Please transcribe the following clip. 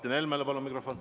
Palun mikrofon Martin Helmele!